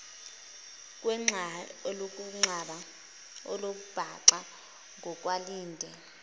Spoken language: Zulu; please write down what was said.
kwembaxa olumbaxa ngokwandile